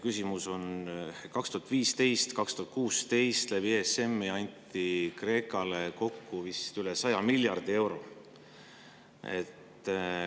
Küsimus on selle kohta, et 2015 ja 2016 anti läbi ESM‑i Kreekale kokku vist üle 100 miljardi euro.